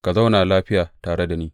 Ka zauna lafiya tare da ni.